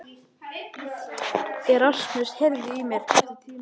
Erasmus, heyrðu í mér eftir tíu mínútur.